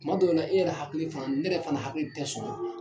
Tuma dɔw la e yɛrɛ hakili fan ne yɛrɛ fana hakili tɛ sɔn